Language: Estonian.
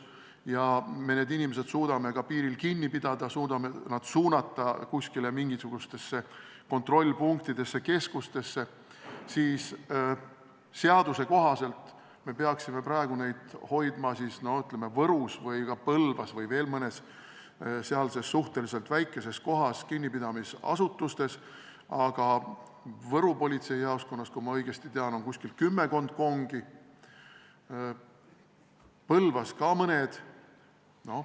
Kui me need inimesed suudame piiril kinni pidada, suudame nad suunata mingisugustesse kontrollpunktidesse, keskustesse, siis seaduse kohaselt me peaksime praegu neid hoidma, ütleme, Võrus või ka Põlvas või veel mõnes sealses suhteliselt väikeses kohas kinnipidamisasutustes, aga Võru politseijaoskonnas, kui ma õigesti tean, on kümmekond kongi, Põlvas ka mõned.